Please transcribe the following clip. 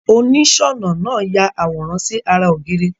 Onísònà naa ya àwòrán si ara ògiri